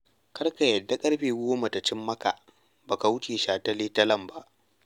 Kar ka yarda ƙarfe goma ta cin maka ba ka wuce shataletalen ba.